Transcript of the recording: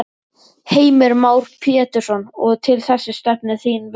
Heimir Már Pétursson: Og til þess stefnir þinn vilji?